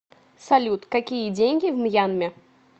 салют какие деньги в мьянме